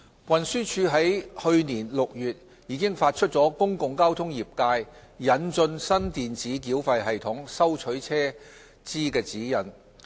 運輸署已於去年6月發出"公共交通業界引進新電子繳費系統收取車資指引"。